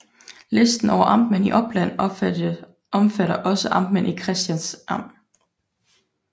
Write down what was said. Listen over amtmænd i Oppland omfatter også amtmænd i Kristians Amt